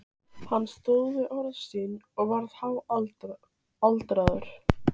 Hann stóð við orð sín og varð háaldraður.